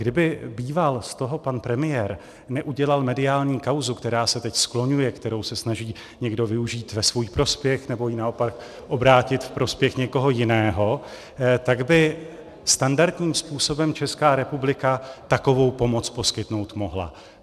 Kdyby býval z toho pan premiér neudělal mediální kauzu, která se teď skloňuje, kterou se snaží někdo využít ve svůj prospěch, nebo ji naopak obrátit v prospěch někoho jiného, tak by standardním způsobem Česká republika takovou pomoc poskytnout mohla.